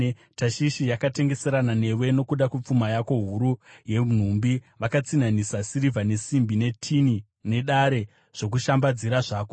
“ ‘Tashishi yakatengeserana newe nokuda kwepfuma yako huru yenhumbi; vakatsinhanisa sirivha, nesimbi, netini nedare zvokushambadzira zvako.